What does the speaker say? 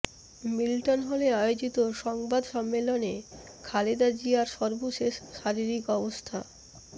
Milton হলে আয়োজিত সংবাদ সম্মেলনে খালেদা জিয়ার সর্বশেষ শারীরিক অবস্থা